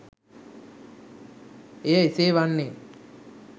එය එසේ වන්නේ